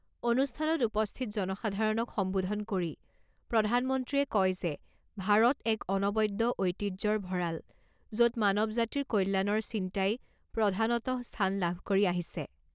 অনুষ্ঠানত উপস্থিত জনসাধাৰণক সম্বোধন কৰি প্ৰধানমন্ত্ৰীয়ে কয় যে ভাৰত এক অনবদ্য ঐতিহ্যৰ ভড়াল য’ত মানৱজাতিৰ কল্যাণৰ চিন্তাই প্ৰধানতঃ স্থান লাভ কৰি আহিছে।